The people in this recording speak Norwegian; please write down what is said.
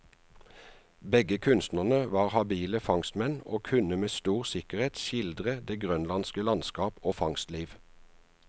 Begge kunstnerne var habile fangstmenn, og kunne med stor sikkerhet skildre det grønlandske landskap og fangstliv.